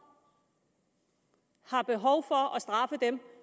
har behov for at straffe dem